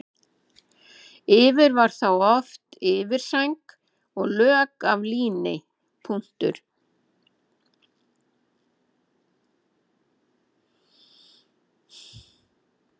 Yfir var þá oft yfirsæng og lök af líni.